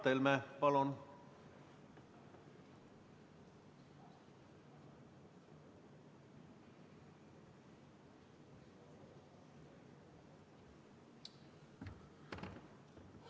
Mart Helme, palun!